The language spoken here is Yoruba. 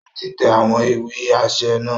O ti n tẹ awọn ìwé aṣẹ naa